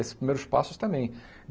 Esses primeiros passos também.